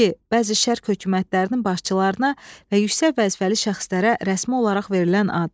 İki, bəzi şərq hökumətlərinin başçılarına və yüksək vəzifəli şəxslərə rəsmi olaraq verilən ad.